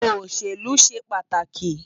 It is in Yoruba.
Oṣélú ṣé pàtáki